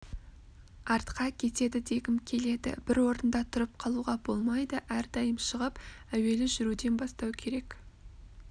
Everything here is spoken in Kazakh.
артқа кетеді дегім келеді бір орында тұрып қалуға болмайды әрдайым шығып әуелі жүруден бастау керек